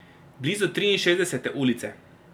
Blizu Triinšestdesete ulice.